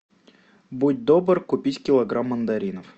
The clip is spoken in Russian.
будь добр купить килограмм мандаринов